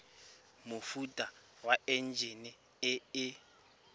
mofuta wa enjine e e